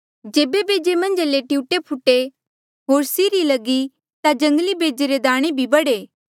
जेबे बेजे मन्झा ले टियूऐ फूटे होर सीरी लगी ता जंगली बेजे रे दाणे भी बढ़े